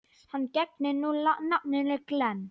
Hann gegnir nú nafninu Glenn.